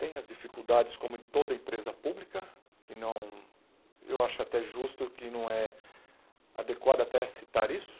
Tem as dificuldades, como em toda empresa pública, que não eu acho até justo que não é adequado até citar isso,